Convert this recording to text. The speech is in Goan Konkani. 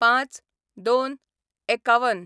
०५/०२/५१